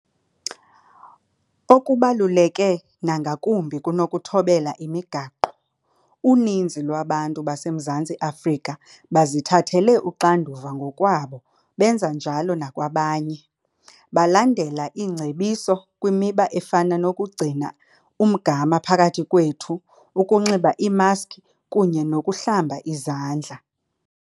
Okubaluleke nangakumbi kunokuthobela imigaqo, uninzi lwabantu baseMzantsi Afrika bazithathele uxanduva ngokwabo benza njalo nakwabanye, belandela iingcebiso kwimiba efana nokugcina umgama phakathi kwethu, ukunxiba iimaskhi kunye nokuhlamba izandla.